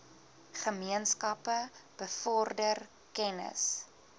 gemeenskappe bevorder kennis